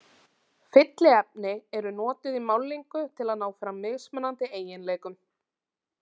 Fylliefni eru notuð í málningu til að ná fram mismunandi eiginleikum.